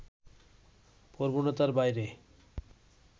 প্রবণতার বাইরে